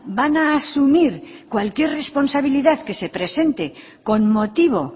van a asumir cualquier responsabilidad que se presente con motivo